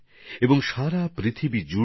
আর বিশ্বে এর খুব চাহিদাও রয়েছে